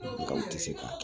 Nka u ti se ka kɛ